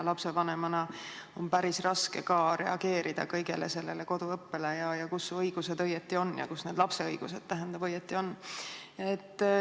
Lapsevanemana on päris raske reageerida kõigele sellele koduõppele, et kus su õigused õieti on ja kus need lapse õigused õieti on.